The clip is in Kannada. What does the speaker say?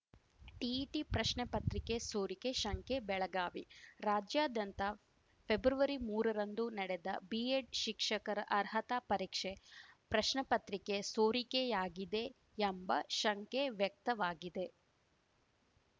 ಟಿಇಟಿ ಪ್ರಶ್ನೆಪತ್ರಿಕೆ ಸೋರಿಕೆ ಶಂಕೆ ಬೆಳಗಾವಿ ರಾಜ್ಯಾದ್ಯಂತ ಫೆಬ್ರವರಿಮೂರರಂದು ನಡೆದ ಬಿಎಡ್ ಶಿಕ್ಷಕರ ಅರ್ಹತಾ ಪರೀಕ್ಷೆ ಪ್ರಶ್ನೆಪ್ರತ್ರಿಕೆ ಸೋರಿಕೆಯಾಗಿದೆ ಎಂಬ ಶಂಕೆವ್ಯಕ್ತವಾಗಿದೆ